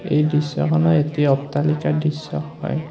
এই দৃশ্যখন এটি অট্টালিকাৰ দৃশ্য হয়।